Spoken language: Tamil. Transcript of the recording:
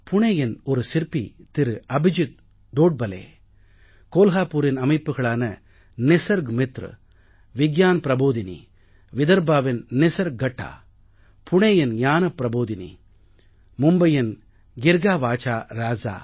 புணேயின் ஒரு சிற்பி திரு அபிஜித் தோட்பலே கோல்ஹாபூரின் அமைப்புக்களான நிசர்க் மித்ர விக்யான் ப்ரபோதினி விதர்ப்பாவின் நிசர்க் கட்டா புணேயின் ஞான ப்ரபோதினி மும்பையின் கிர்காவாசா ராசா ராஜா